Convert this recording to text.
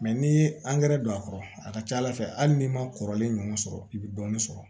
n'i ye angɛrɛ don a kɔrɔ a ka ca ala fɛ hali n'i ma kɔrɔlen ɲɔgɔn sɔrɔ i bɛ dɔɔnin sɔrɔ